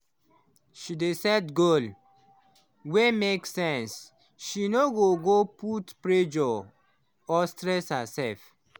she dey set goal wey make sense so she no go put pressure or stress herself.